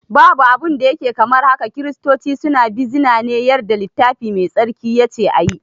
Babu abun da yake kamar haka, kiristoci suna bizina ne yarda littafi mai tsarki yace ayi